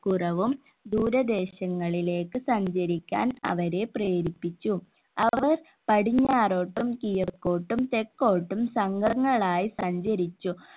കുറവും ദൂരദേശങ്ങളിലേക്ക് സഞ്ചരിക്കാൻ അവരെ പ്രേരിപ്പിച്ചു അവർ പടിഞ്ഞാറോട്ടും കിഴക്കോട്ടും തെക്കോട്ടും സംഘങ്ങളായി സഞ്ചരിച്ചു